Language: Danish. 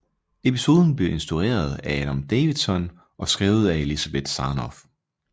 Episoden blev instrueret af Adam Davidson og skrevet af Elizabeth Sarnoff